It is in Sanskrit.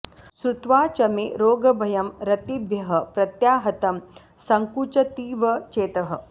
श्रुत्वा च मे रोगभयं रतिभ्यः प्रत्याहतं सङ्कुचतीव चेतः